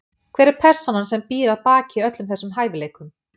Hver er persónan sem býr að baki öllum þessum hæfileikum?